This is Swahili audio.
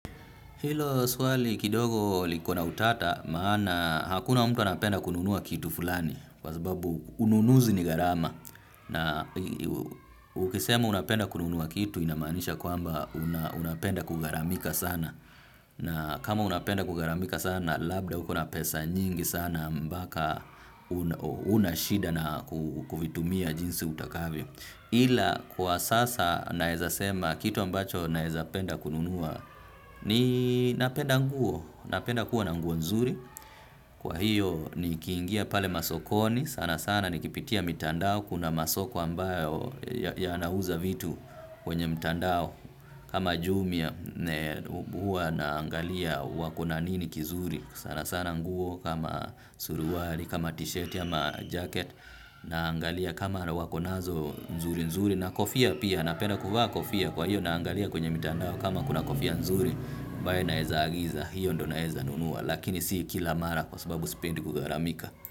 Hilo swali kidogo liko na utata maana hakuna mtu anapenda kununua kitu fulani kwa sababu ununuzi ni garama na ukisema unapenda kununua kitu inamanisha kwamba unapenda kugharamika sana na kama unapenda kugaramika sana labda uko na pesa nyingi sana mpaka unashida na kuvitumia jinsi utakavyo ila kwa sasa naezasema kitu ambacho naezapenda kununua ni napenda nguo, napenda kuwa na nguo nzuri kwa hiyo ni kiingia pale masokoni sana sana ni kipitia mitandao kuna masoko ambayo yanauza vitu kwenye mitandao kama jumia hua naangalia wako na nini kizuri sana sana nguo kama suruwari, kama t-shirt, ya ma jacket naangalia kama wakonazo nzuri nzuri na kofia pia napena kuvaa kofia kwa hiyo naangalia kwenye mitandao kama kuna kofia nzuri mbae naeza agiza hiyo ndo naeza nunua lakini si kila mara kwa sababu sipendi kugharamika.